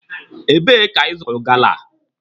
Ebe ka ị zụrụ gala a?